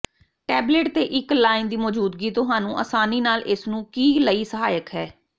tablet ਤੇ ਇੱਕ line ਦੀ ਮੌਜੂਦਗੀ ਤੁਹਾਨੂੰ ਆਸਾਨੀ ਨਾਲ ਇਸ ਨੂੰ ਕੀ ਲਈ ਸਹਾਇਕ ਹੈ